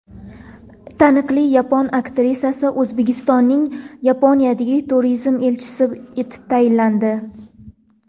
Taniqli yapon aktrisasi O‘zbekistonning Yaponiyadagi turizm elchisi etib tayinlandi.